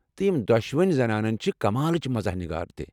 تہٕ یِم دۄشوے زنانہٕ چھِ کمالٕچ مزاح نِگار تہِ۔